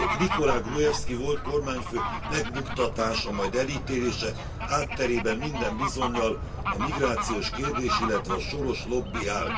Nikola Gruevszki volt kormányfő megbuktatása, majd elítélése hátterében minden bizonnyal a migrációs kérdés, illetve a Soros lobby áll.